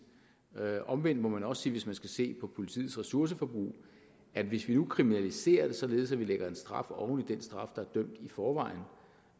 omvendt må man også sige hvis man skal se på politiets ressourceforbrug at hvis vi nu kriminaliserer det således at vi lægger en straf oven i den straf der er dømt i forvejen